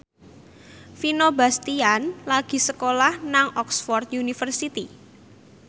Vino Bastian lagi sekolah nang Oxford university